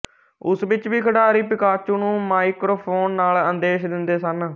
ਉਸ ਵਿੱਚ ਵੀ ਖਿਡਾਰੀ ਪਿਕਾਚੂ ਨੂੰ ਮਾਈਕਰੋਫ਼ੋਨ ਨਾਲ ਆਦੇਸ਼ ਦਿੰਦੇ ਸਨ